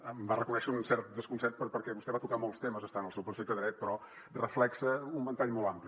em va reconèixer un cert desconcert perquè vostè va tocar molts temes està en el seu perfecte dret però reflecteix un ventall molt ampli